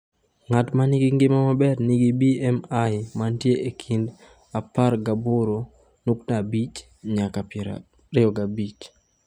Ng’at ma nigi ngima maber nigi BMI mantie e kind 18.5 nyaka 25.